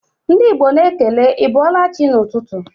Ndị Igbo na-ekele 'ị bọọla chi' n'ụtụtụ